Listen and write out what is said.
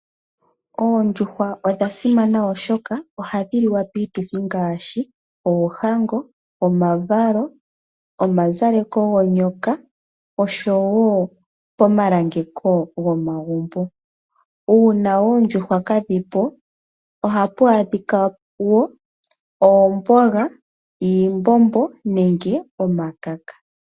Oondjuhwa odha simana oshoka, ohadhi liwa piituthi ngaashi oohango, omavalo, omazaleko gonyoka oshowo pomalangeko gomagumbo. Una oondjuhwa kadhi po ohapu adhika wo oomboga, iimbombo nenge omakaka.